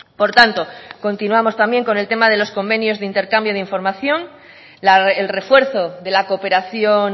por tanto continuamos también con el tema de los convenios de intercambio de información el refuerzo de la cooperación